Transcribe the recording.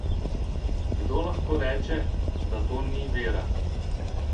Kdo lahko reče, da to ni vera?